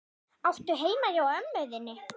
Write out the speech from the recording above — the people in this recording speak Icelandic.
Áttu heima hjá ömmu þinni?